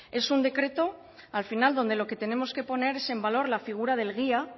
es un decreto al final donde lo que tenemos que poner es en valor la figura del guía